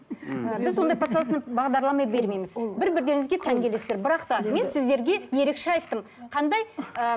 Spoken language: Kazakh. мхм біз ондай подсознательный бағдарлама бермейміз бір бірлеріңізге тән келесіздер бірақ та мен сіздерге ерекше айттым қандай ыыы